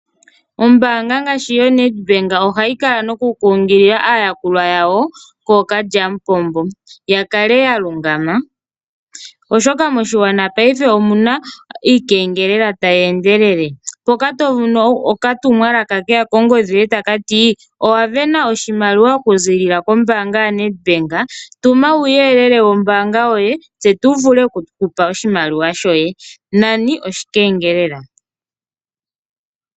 Ombaanga ngaashi yoNedbank ohayi kala nokukunkilila aayakulwa yawo kooKalyamupombo, ya kale ta lungama, oshoka moshigwana paife omu na iikengelela tayi endelele. Mpoka to mono okatumwalaka ke ya kongodhi yoye taka ti: "Owa sindana oshimaliwa okuziilila kombaanga yaNedbank. Tuma uuyelele wombaanga yoye, tse tu vule oku ku pa oshimaliwa shoye". Nani oshikengelela.